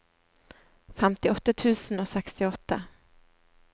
femtiåtte tusen og sekstiåtte